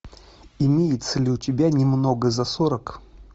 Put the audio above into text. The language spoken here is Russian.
имеется ли у тебя немного за сорок